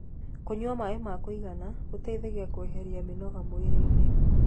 kũnyua maĩ ma kuigana gũteithagia kueherĩa mĩnoga mwĩrĩ-ini